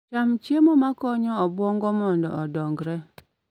Cham chiemo ma konyo obwongo mondo odonjre.